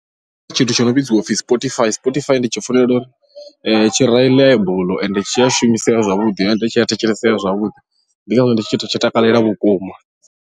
Tshithu tsho no vhidziwa upfhi spotify, spotify ndi tshi funela uri tshi reliable ende tshi a shumisea zwavhuḓi ende tshi a thetshelesea zwavhuḓi ndi ngazwo ndi tshi tshi takalela vhukuma.